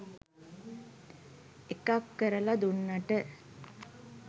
එකක් කරලා දුන්නට